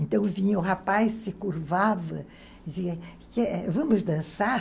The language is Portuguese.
Então vinha o rapaz, se curvava e dizia, vamos dançar?